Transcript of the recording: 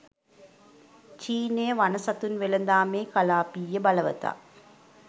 චීනය වන සතුන් වෙළදාමේ කළාපීය බලවතා